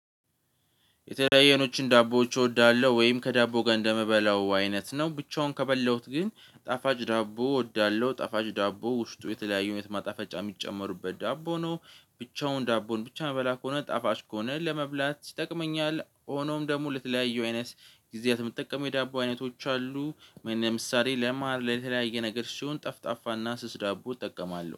የተለያየኖችን ዳቦዎች እወዳለሁ ወይም ከዳቦ ጋር እንደምበላው አይነት ነው ብቻውን ከበላሁት ግን ጣፋጭ ዳቦ እወዳለሁ ጣፋጭ ዳቦ ውስጡ የተለያዩ ማጣፈጫ የሚጨመሩበት ዳቦ ነው። ብቻውን ዳቦን ብቻ ምበላ ከሆነ ጣፋጭ ከሆነ ለመብላት ይጠቅመኛል ሆኖም ደግሞ ለተለያዩ አይነት ጊዜያት የምትጠቀመው የዳቦ አይነቶች አሉ። ለምሳሌ ለመሃል ለተለያየ ነገር ሲሆን ጠፍጣፋና ስስ ዳቦ እጠቀማለሁ